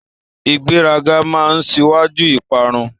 Ìgbéraga máa n síwájú ìparun.